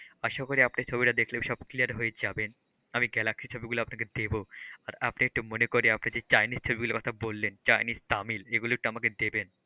আশা করি আপনি ছবিটা দেখলে সব clear হয়ে যাবেন, আমি গ্যালাক্সি ছবিগুলো আপনাকে দেবো আর আপনি একটু মনে করে আপনি যে চায়নিস ছবিগুলোর কথা বললেন চায়নিস তামিল এগুলো একটু আমাকে দেবেন।